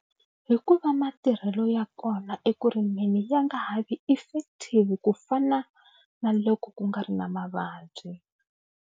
Hi ku va matirhelo ya kona eku rimeni ya nga ha vi effective ku fana na loko ku nga ri na mavabyi.